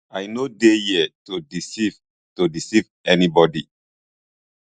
i no dey here to deceive to deceive anyone